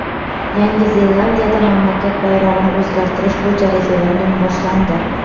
Yangi Zelandiyada mamlakat bayrog‘ini o‘zgartirish bo‘yicha referendum boshlandi.